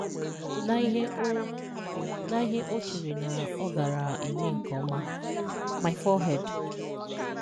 Na ihe o Na ihe o chere na ọ gaara eme nke ọma "My forehand.